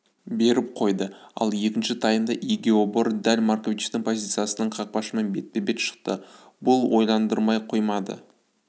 беріп қойды ал екінші таймда игиебор дәл марковичтің позициясынан қақпашымен бетпе-бет шықты бұл ойландырмай қоймайды